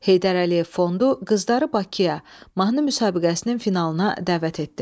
Heydər Əliyev Fondu qızları Bakıya, mahnı müsabiqəsinin finalına dəvət etdi.